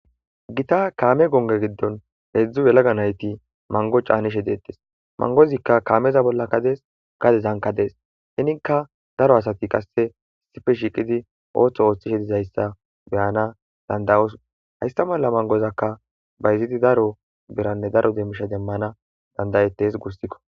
gita kaame gonge giddon heedzdzu yelaga nayti mango caanishe deettes mangozikka kaameza bollakka dees gade zanka dees henikka daro asati qasse issife shiiqidi ooththo ooththishe dizayssa beyana dandayos haysta malla mangozakka bayziti daro beranne daro demmisha demmana dandayettes guussikko.